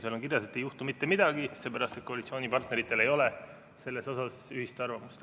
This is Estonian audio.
Seal on kirjas, et ei juhtu mitte midagi, seepärast et koalitsioonipartneritel ei ole selle kohta ühist arvamust.